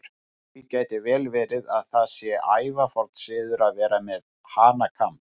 Því gæti vel verið að það sé ævaforn siður að vera með hanakamb.